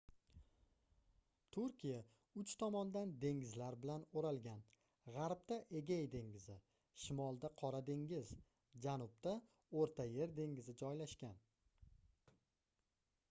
turkiya uch tomondan dengizlar bilan oʻralgan gʻarbda egey dengizi shimolda qora dengiz janubda oʻrta yer dengizi joylashgan